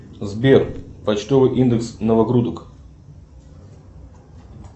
сбер почтовый индекс новогрудок